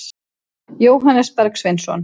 Jóhannes Bergsveinsson.